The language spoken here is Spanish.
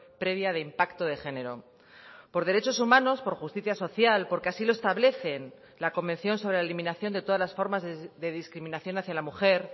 previa de impacto de género por derechos humanos por justicia social porque así lo establecen la convención sobre la eliminación de todas las formas de discriminación hacia la mujer